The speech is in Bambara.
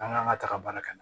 An k'an ka taga baara kɛ